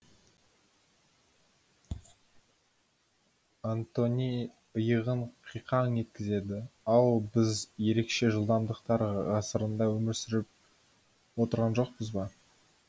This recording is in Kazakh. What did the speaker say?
антони иығын қиқаң еткізеді ау біз ерекше жылдамдықтар ғасырында өмір сүріп отырған жоқпыз ба